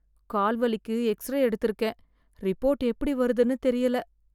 கால் வலிக்கு எக்ஸ்ரே எடுத்து இருக்கேன் ரிப்போர்ட் எப்படி வருதுன்னு தெரியல.